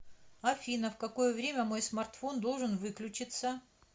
афина в какое время мой смартфон должен выключиться